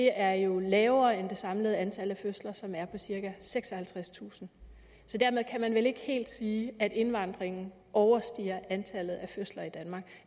er jo lavere end det samlede antal af fødsler som er på cirka seksoghalvtredstusind så dermed kan man vel ikke helt sige at indvandringen overstiger antallet af fødsler i danmark